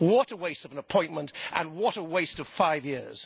What a waste of an appointment and what a waste of five years.